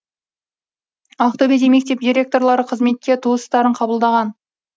ақтөбеде мектеп директорлары қызметке туыстарын қабылдаған